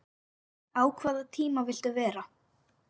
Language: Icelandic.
á hvaða tíma viltu vera?